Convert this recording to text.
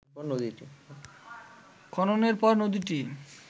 খননের পর নদীটি